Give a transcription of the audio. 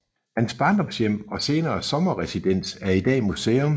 Hans barndomshjem og senere sommerresidens er i dag museum